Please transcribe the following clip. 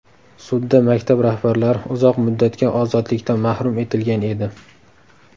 Sudda maktab rahbarlari uzoq muddatga ozodlikdan mahrum etilgan edi.